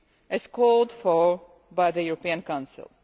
as called for by the European Council.